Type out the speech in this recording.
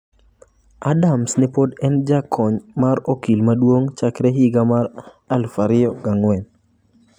Adams ne pod en jakony mar okil maduong ' chakre higa mar 2004.